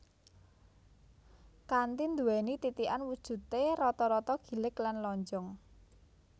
Kanthi nduwéni titikan wujudé rata rata gilig lan lonjong